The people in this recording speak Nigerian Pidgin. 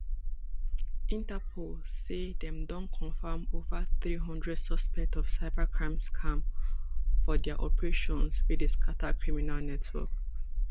interpol say dem don confam ova three hundred suspects of cybercrime scam for dia operation wey dey scatta criminal networks